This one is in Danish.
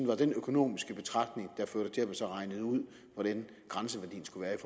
var den økonomiske betragtning der førte til at det så blev regnet ud hvordan grænseværdien skulle være i